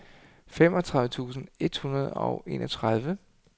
femogtredive tusind et hundrede og enogtredive